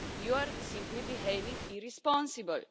You are simply behaving irresponsibly.